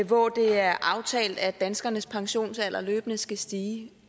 hvor det er aftalt at danskernes pensionsalder løbende skal stige